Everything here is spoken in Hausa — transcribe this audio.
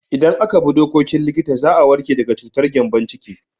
Idan aka bi dokokin likita za a warke daga cutar gyambon ciki.